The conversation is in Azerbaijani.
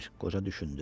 Qoca düşündü.